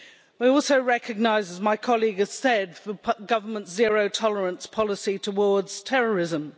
We also recognise, as my colleague has said, the government's zero-tolerance policy towards terrorism.